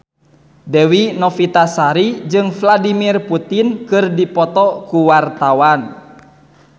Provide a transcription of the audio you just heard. Dewi Novitasari jeung Vladimir Putin keur dipoto ku wartawan